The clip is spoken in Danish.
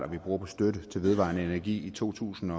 vi bruger på støtte til vedvarende energi i to tusind